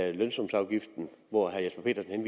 at lønsumsafgiften hvor herre jesper petersen